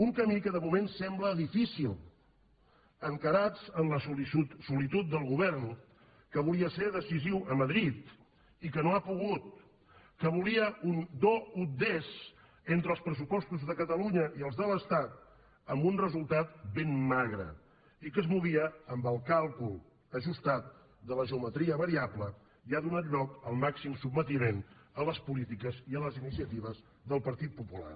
un camí que de moment sembla difícil encarats en la solitud del govern que volia ser decisiu a madrid i que no ha pogut que volia un do ut deslunya i els de l’estat amb un resultat ben magre i que es movia amb el càlcul ajustat de la geometria variable i ha donat lloc al màxim sotmetiment a les polítiques i a les iniciatives del partit popular